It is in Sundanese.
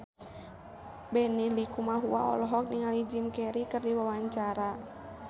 Benny Likumahua olohok ningali Jim Carey keur diwawancara